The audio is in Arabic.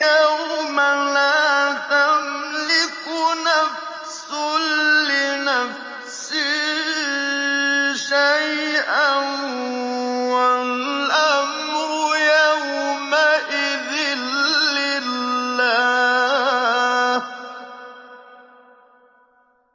يَوْمَ لَا تَمْلِكُ نَفْسٌ لِّنَفْسٍ شَيْئًا ۖ وَالْأَمْرُ يَوْمَئِذٍ لِّلَّهِ